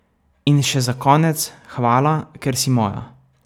In še za konec, hvala, ker si moja.